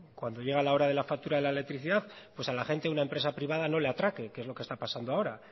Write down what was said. cuando llega la hora de la factura de la electricidad pues a la gente una empresa privada no le atraque que es lo que está pasando ahora